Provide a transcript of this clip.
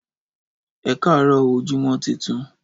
Ẹkarọ óò ojumọ titun